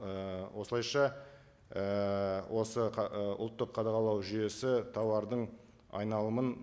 і осылайша ііі осы і ұлттық қадағалау жүйесі тауардың айналымын